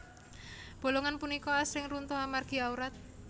Bolongan punika asring runtuh amargi awrat